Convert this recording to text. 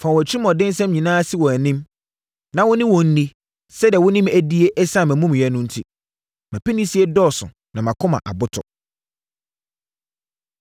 “Fa wɔn atirimuɔdensɛm nyinaa si wʼanim; na wo ne wɔn nni sɛdeɛ wo ne me adie ɛsiane mʼamumuyɛ no enti. Mʼapinisie dɔɔso na mʼakoma aboto.”